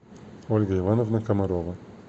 ольга ивановна комарова